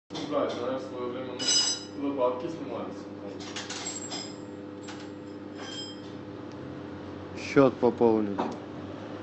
счет пополнить